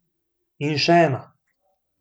In še ena.